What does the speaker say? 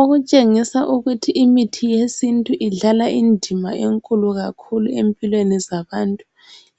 Okutshengisa ukuthi imithi yesintu idlala indima enkulu kakhulu empilweni zabantu